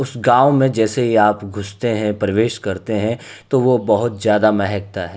उस गांव में जैसे ही आप घुसते है प्रवेश करते है तो वो बहोत ज्यादा महकता है।